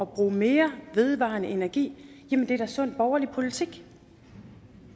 bruge mere vedvarende energi er da sund borgerlig politik